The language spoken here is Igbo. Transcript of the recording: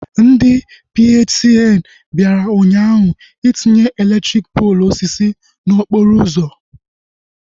Ndị PHCN bịara ụnyaahụ itinye elektriki poolu osisi n'okporo ụzọ